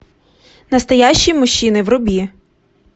настоящие мужчины вруби